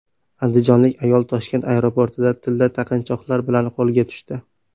Andijonlik ayol Toshkent aeroportida tilla taqinchoqlar bilan qo‘lga tushdi.